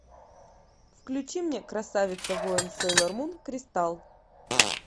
включи мне красавица воин сейлор мун кристалл